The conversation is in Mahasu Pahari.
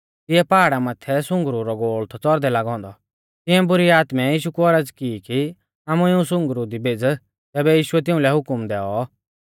तिऐ पाहाड़ा माथै सुंगरु रौ गोल़ थौ च़ौरदे लागौ औन्दौ तिऐं बुरी आत्मै यीशु कु औरज़ की कि आमु इऊं सुंगरु दी भेज़ तैबै यीशुऐ तिउंलै हुकम दैऔ